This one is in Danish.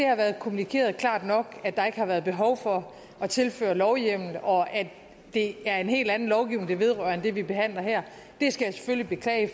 har været kommunikeret klart nok at der ikke har været behov for at tilføre lovhjemmel og at det er en helt anden lovgivning det vedrører end den vi behandler her skal jeg selvfølgelig beklage